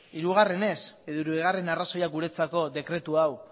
hirugarrenez edo hirugarren arrazoia guretzako dekretu hau